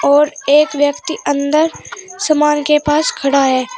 और एक व्यक्ति अंदर समान के पास खड़ा है।